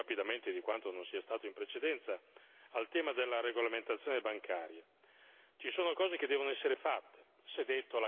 Dobbiamo arrivare altrettanto rapidamente, anzi più rapidamente di quanto non sia stato in precedenza, al tema della regolamentazione bancaria.